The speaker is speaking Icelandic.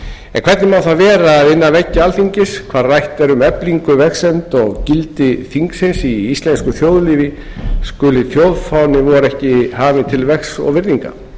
en hvernig má það vera að innan veggja alþingis hvar rætt er um eflingu vegsemd og gildi þingsins í íslensku þjóðlífi skuli þjóðfáni vor ekki hafinn til vegs og virðingar